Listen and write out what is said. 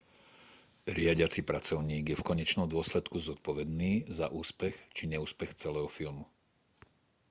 riadiaci pracovník je v konečnom dôsledku zodpovedný za úspech či neúspech celého tímu